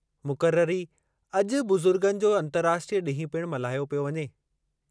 मुक़ररी अॼु बुज़ुर्गनि जो अंतर्राष्ट्रीय ॾींहुं पिणु मल्हायो पियो वञे।